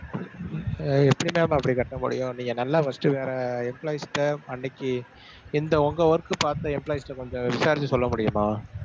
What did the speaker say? அஹ் எப்படி ma'am அப்படி கட்ட முடியும்? நீங்க நல்லா first வேற employees ட அன்னைக்கு இந்த உங்க work பார்த்த employees ட கொஞ்சம் விசாரிச்சு சொல்ல முடியுமா?